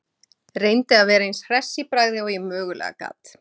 Reyndi að vera eins hress í bragði og ég mögulega gat.